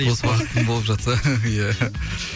бос уақытым болып жатса иә